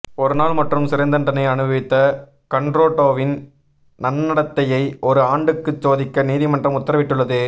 ஒருநாள் மட்டும் சிறை தண்டனை அனுபவித்த கன்ரடோவின் நன்னடத்தையை ஒரு ஆண்டுக்கு சோதிக்க நீதிமன்றம் உத்தரவிட்டுள்ளது